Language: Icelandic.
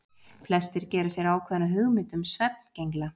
Flestir gera sér ákveðna hugmynd um svefngengla.